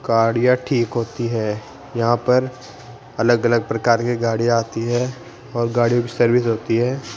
गाड़ीयां ठीक होती है यहां पर अलग अलग प्रकार की गाड़ी आती है और गाड़ीयों की सर्विस होती है।